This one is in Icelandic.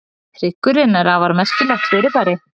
hryggurinn er afar merkilegt fyrirbæri